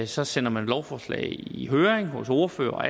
så sender man lovforslag i i høring hos ordførere og